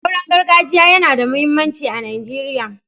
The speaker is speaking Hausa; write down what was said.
Auren gargajiya yana da muhimmanci a Najeriya.